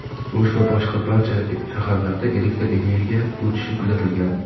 O‘sh va boshqa barcha shaharlarda elektr energiya o‘chishi kuzatilgan.